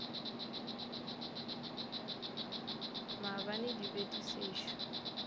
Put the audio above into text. maabane di be di sešo